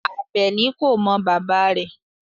Abeni ko mo baba re